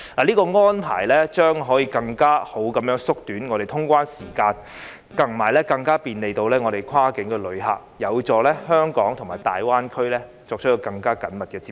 這項安排將可以更好地縮短通關時間，以及更便利跨境旅客，有助香港與大灣區作更緊密的接觸。